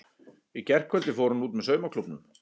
Í gærkvöldi fór hún út með saumaklúbbnum.